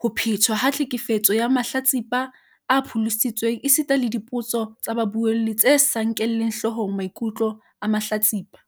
ho phetwa ha tlhekefetso ya mahlatsipa a pholositsweng esita le dipotso tsa babuelli tse sa nkeleng hlohong mai kutlo a mahlatsipa.